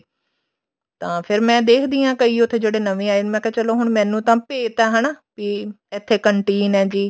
ਤਾਂ ਫੇਰ ਮੈਂ ਦੇਖਦੀ ਹਾਂ ਕਈ ਵਾਰੀ ਜਿਹੜੇ ਉੱਥੇ ਨਵੇਂ ਆਏ ਮੈਂ ਕਿਹਾ ਚਲੋ ਹੁਣ ਮੈਨੂੰ ਤਾਂ ਭੇਤ ਆ ਹਨਾ ਵੀ ਇੱਥੇ canteen ਆ ਜੀ